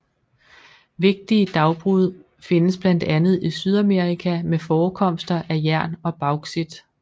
Vigtige dagbrud findes blandt andet i Sydamerika med forekomster af jern og bauxit